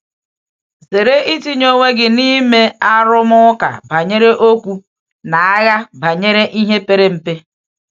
Zere itinye onwe gị n’ime um ‘arụmụka banyere okwu’ na ‘agha banyere um ihe pere mpe.’ um